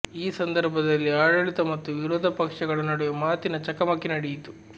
ಈ ಸಂದರ್ಭದಲ್ಲಿ ಆಡಳಿತ ಮತ್ತು ವಿರೋಧ ಪಕ್ಷಗಳ ನಡುವೆ ಮಾತಿನ ಚಕಮಕಿ ನಡೆಯಿತು